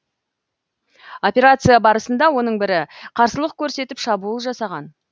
операция барысында оның бірі қарсылық көрсетіп шабуыл жасаған